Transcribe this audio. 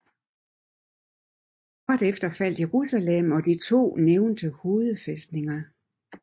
Kort efter faldt Jerusalem og de to nævnte hovedfæstninger